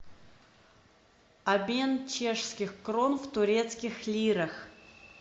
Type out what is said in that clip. обмен чешских крон в турецких лирах